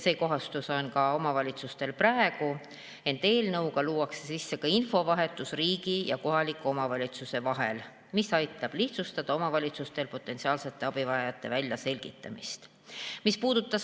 See kohustus on omavalitsustel ka praegu, ent eelnõuga tuuakse sisse infovahetus riigi ja kohaliku omavalitsuse vahel, mis aitab omavalitsustel lihtsustada potentsiaalsete abivajajate väljaselgitamist.